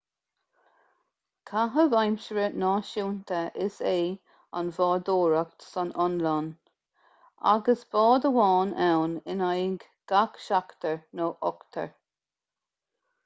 caitheamh aimsire náisiúnta is ea an bhádóireacht san fhionlainn agus bád amháin ann in aghaidh gach seachtar nó ochtar